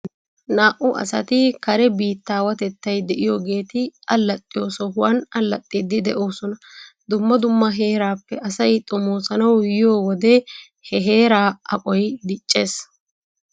Naa''u asati kare biittaawatettay de'iyoogeeti allaxxiyoo sohuwan allaxxiddi de'oosona. Dumma dumma heeraappe asay xomoosanawu yiyo wode he heeraa aqoy diccees.